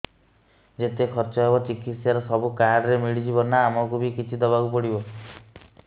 ଯେତେ ଖର୍ଚ ହେବ ଚିକିତ୍ସା ରେ ସବୁ କାର୍ଡ ରେ ମିଳିଯିବ ନା ଆମକୁ ବି କିଛି ଦବାକୁ ପଡିବ